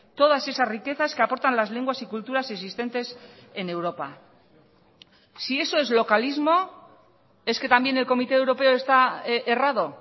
todas esas riquezas que aportan las lenguas y culturas existentes en europa si eso es localismo es que también el comité europeo está errado